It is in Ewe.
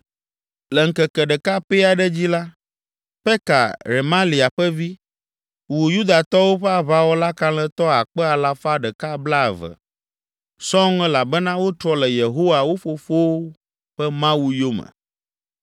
Le ŋkeke ɖeka pɛ aɖe dzi la, Peka, Remalia ƒe vi, wu Yudatɔwo ƒe aʋawɔla kalẽtɔ akpe alafa ɖeka blaeve (120,000) sɔŋ elabena wotrɔ le Yehowa, wo fofowo ƒe Mawu, yome.